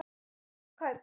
Stór kaup?